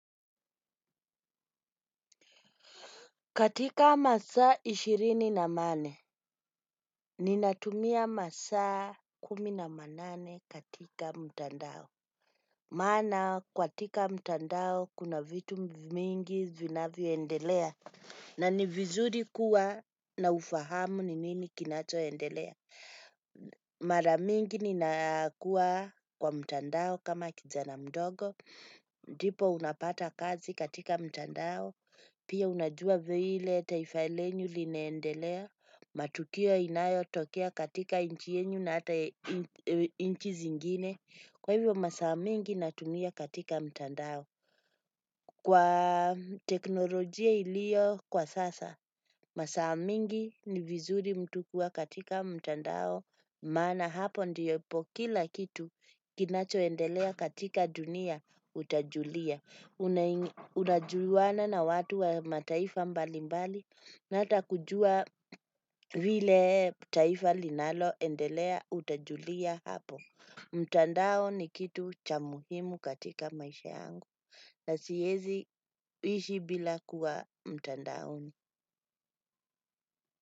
Katika masaa ishirini na manne, ninatumia masaa kumi na manane katika mtandao. Maana, katika mtandao kuna vitu mingi vinavyoendelea. Na ni vizuri kuwa na ufahamu ni nini kinachoendelea. Mara mingi ninakuwa kwa mtandao kama kijana mdogo. Ndipo unapata kazi katika mtandao. Pia unajua vile taifa lenu linaendelea. Matukio inayotokea katika nchi yenu na ata nchi zingine. Kwa hivyo masaa mingi natumia katika mtandao. Kwa teknolojia iliyo kwa sasa masaa mingi ni vizuri mtu kuwa katika mtandao. Maana hapo ndipo kila kitu kinachoendelea katika dunia utajulia. Unajuana na watu wa mataifa mbalimbali na hata kujua vile taifa linaloendelea utajulia hapo. Mtandao ni kitu cha muhimu katika maisha yangu na siezi ishi bila kuwa mtandaoni.